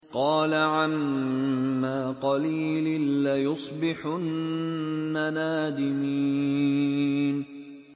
قَالَ عَمَّا قَلِيلٍ لَّيُصْبِحُنَّ نَادِمِينَ